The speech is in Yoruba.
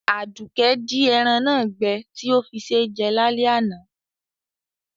Àdùkẹ́ di eran náà gbẹ ti o fí sé jẹ lálẹ́ àná